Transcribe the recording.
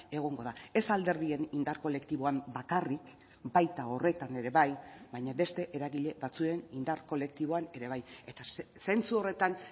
egongo da ez alderdien indar kolektiboan bakarrik baita horretan ere bai baina beste eragile batzuen indar kolektiboan ere bai eta zentzu horretan